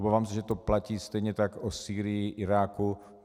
Obávám se, že to platí stejně tak o Sýrii, Iráku.